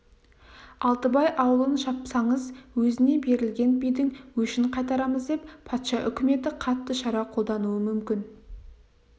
алтыбай аулын шапсаңыз өзіне берілген бидің өшін қайтарамыз деп патша үкіметі қатты шара қолдануы мүмкін